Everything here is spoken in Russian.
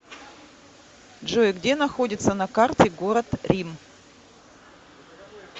джой где находится на карте город рим